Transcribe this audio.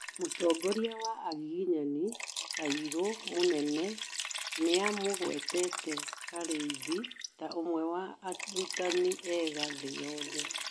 Mũtongorĩa wa agĩgĩnyani, kairu mũnene nĩamũgwetete Karĩithĩ ta ũmwe wa arũtanĩ ega thĩ yothe